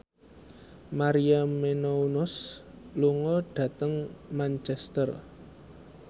Maria Menounos lunga dhateng Manchester